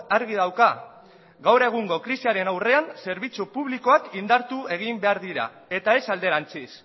argi dauka gaur egungo krisiaren aurrean zerbitzu publikoak indartu egin behar direla eta ez alderantziz